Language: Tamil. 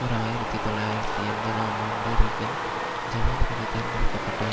ஓர் ஆயிரத்தி தொள்ளாயிரத்தி எண்பதாம் ஆண்டு ரீகன் ஜனாதிபதி தேர்ந்தெடுக்க பட்டார்